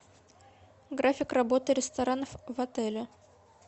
график работы ресторанов отеле